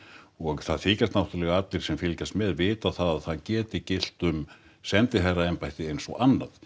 og það þykjast náttúrulega allir sem fylgjast með vita það að það geti gilt um sendiherraembætti eins og annað